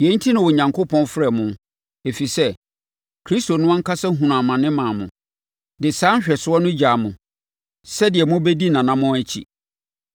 Yei enti na Onyankopɔn frɛɛ mo, ɛfiri sɛ, Kristo no ankasa hunuu amane maa mo, de saa nhwɛsoɔ no gyaa mo, sɛdeɛ mobɛdi nʼanammɔn akyi.